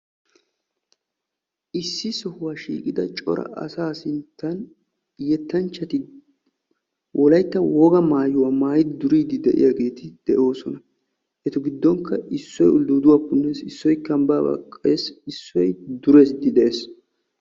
Issi sohuwaa shiiqida cora asaa sinttan yettanchchati wolaytta wpga maayuwaa maayidi duriidi de'iyaageti de'oosona. eta giddonkka issoy uldduduwaa punnees, issoy kambbaa baqqees, issoy duriidi de'ees.